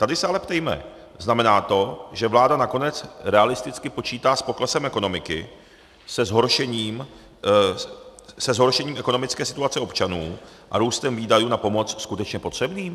Tady se ale ptejme: Znamená to, že vláda nakonec realisticky počítá s poklesem ekonomiky, se zhoršením ekonomické situace občanů a růstem výdajů na pomoc skutečně potřebným?